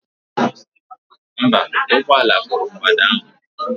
Mba, ụgbọ ala kụrụ mgbada ahụ.